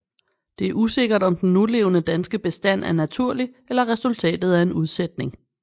Det er usikkert om den nulevende danske bestand er naturlig eller resultatet af en udsætning